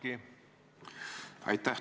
Aitäh!